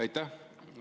Aitäh!